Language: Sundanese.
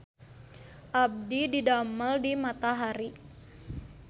Abdi didamel di Matahari